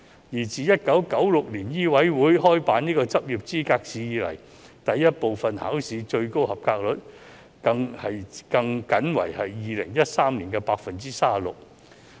而自1996年醫委會開辦執業資格試後，第一部分考試的及格率最高為2013年的 36%。